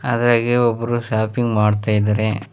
ಅದೇಗೆ ಒಬ್ಬರು ಶಾಪಿಂಗ್ ಮಾಡ್ತಾ ಇದ್ದಾರೆ.